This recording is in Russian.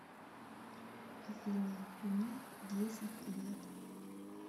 афина мне десять лет